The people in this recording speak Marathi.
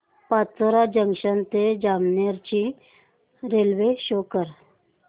पाचोरा जंक्शन ते जामनेर ची रेल्वे शो कर